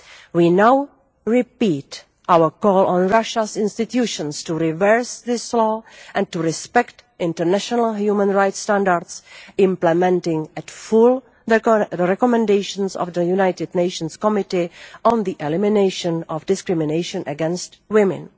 We now repeat our call on Russia's institutions to reverse this law and to respect international human rights standards, implementing in full the recommendations of the United Nations Committee on the Elimination of Discrimination against Women.